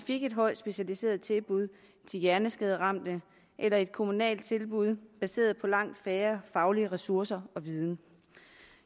et højt specialiseret tilbud til hjerneskaderamte eller et kommunalt tilbud baseret på langt færre faglige ressourcer og viden